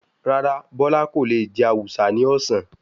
Rárá, Bọ́lá kò le jẹ awùsá ní ọ̀sán.